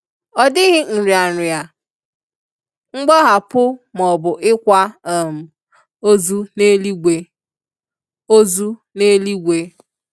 Ọ dịghị nrịanrịa, mgbahapụ maọbụ ịkwa um ozu n'eluigwe. ozu n'eluigwe.